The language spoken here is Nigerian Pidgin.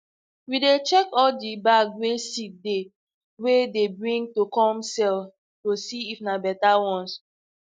we dey check all de bag wey seed dey wey dey bring to com sell to see if na better ones